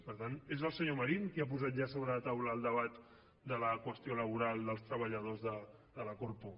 per tant és el senyor marín qui ha posat ja sobre la taula el debat de la qüestió laboral dels treballadors de la corpo